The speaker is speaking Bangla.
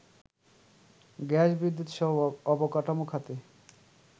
গ্যাস-বিদ্যুৎসহ অবকাঠামো খাতে